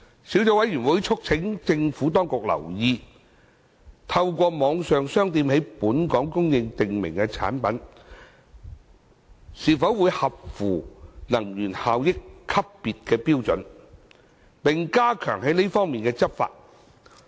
小組委員會促請政府當局留意透過網上商店在本港供應的訂明產品是否符合能源效益級別標準，並加強這方面的執法。